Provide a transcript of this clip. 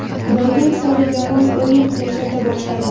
Borgan sari yomon o‘yin ko‘rsata boshladim.